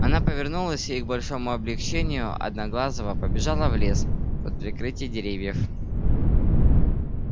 она повернулась и к большому облегчению одноглазого побежала в лес под прикрытие деревьев